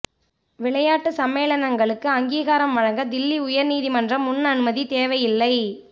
விளையாட்டு சம்மேளனங்களுக்கு அங்கீகாரம் வழங்க தில்லி உயா்நீதிமன்ற முன் அனுமதி தேவையில்லை